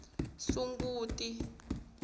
sunguti